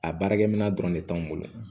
A baarakɛminɛn dɔrɔn de t'anw bolo